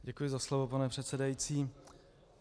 Děkuji za slovo, pane předsedající.